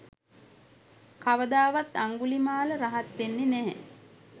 කවදාවත් අංගුලිමාල රහත් වෙන්නේ නැහැ.